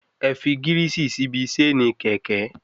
Ẹfi gírìsì síbi ṣéènì kẹ̀kẹ́